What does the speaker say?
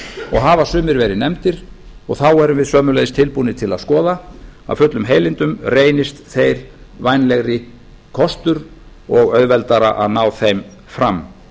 og hafa sumir verið nefndir og þá erum við sömuleiðis tilbúnir til að skoða af fullum heilindum reynist þeir vænlegri kostur og auðveldara að ná þeim fram